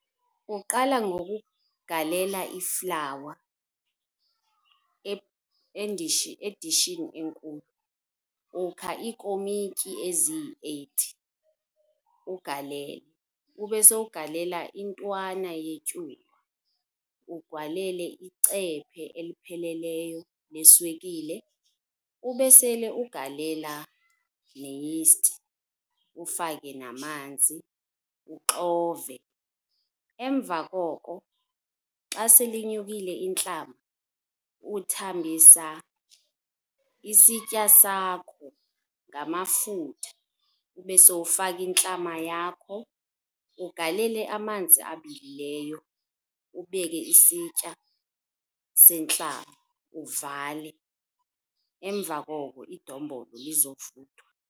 Uqala ngokugalela iflawa edishini enkulu. Ukha iikomityi eziyi-eight, uwugalela. Ube sowugalela intwana yetyuwa, ugalele icephe elipheleleyo leswekile. Ube sele ugalela neyisti, ufake namanzi, uxove. Emva koko xa sele inyukile intlama, uthambisa isitya sakho ngamafutha ube sowufaka intlama yakho, ugalele amanzi abilileyo, ubeke isitya sentlama uvale. Emva koko idombolo lizovuthwa.